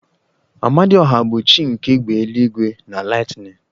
Amadioha bụ chi nke égbè eluigwe na lightening